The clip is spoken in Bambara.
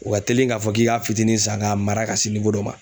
U ka teli ka fɔ k'i k'a fitinin san ka mara ka se dɔ ma.